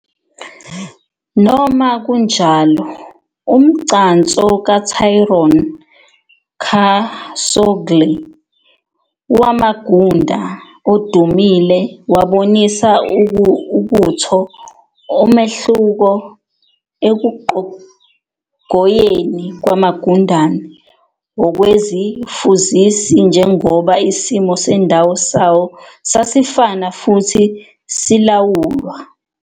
Noma kunjalo, umgcanso kaTryon kasogkle wamagunda odumile wabonisa ukutho umehluko ekuqhogoyeni kwamagundane okwezifuzisi njengoba isimo sendawo sawo sasifana futhi silawulwa.